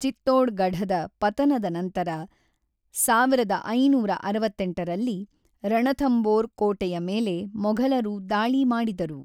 ಚಿತ್ತೋಡ್‌ಗಢದ ಪತನದ ನಂತರ ಸಾವಿರದ ಐನೂರ ಅರವತ್ತೆಂಟರಲ್ಲಿ ರಣಥಂಬೋರ್ ಕೋಟೆಯ ಮೇಲೆ ಮೊಘಲರು ದಾಳಿ ಮಾಡಿದರು.